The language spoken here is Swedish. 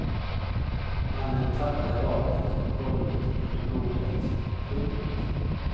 Mannen tappade vapnet på golvet under bordet. punkt